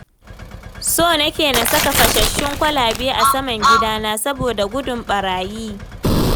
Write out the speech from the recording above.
So nake na saka fashasshun kwalabe a saman gidana saboda gudun ɓarayi